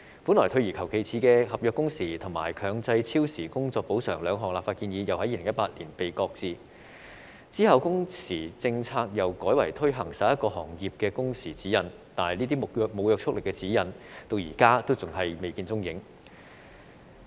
本來退而求其次的合約工時和強制超時工作補償兩項立法建議又在2018年被擱置，之後工時政策又改為推行11個行業的工時指引，但這些沒有約束力的指引至今仍未見蹤影。